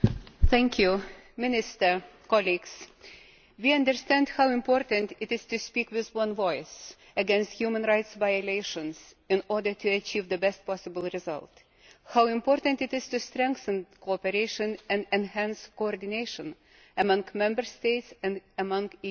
Mr President, we understand how important it is to speak with one voice against human rights violations in order to achieve the best possible result and how important it is to strengthen cooperation and enhance coordination among Member States and among EU Institutions.